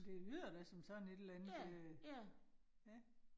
Det lyder da som sådan et eller andet øh ja